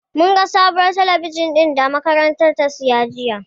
Mun ga sabuwar talabijin ɗin da da makarantar ta siya jiya.